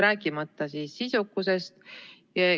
Rääkimata sisukusest.